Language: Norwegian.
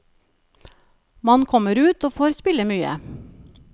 Man kommer ut og får spille mye.